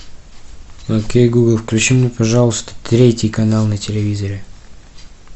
окей гугл включи мне пожалуйста третий канал на телевизоре